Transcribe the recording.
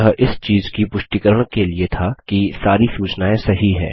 यह इस चीज़ की पुष्टिकरण के लिए था कि सारी सूचनाएँ सही है